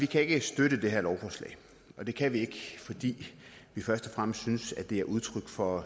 kan støtte det her lovforslag det kan vi ikke fordi vi først og fremmest synes at det er udtryk for